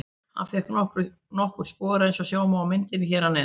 Hann fékk nokkur spor eins og sjá má á myndinni hér að neðan.